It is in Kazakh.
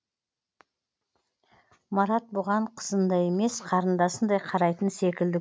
марат бұған қызындай емес қарындасындай қарайтын секілді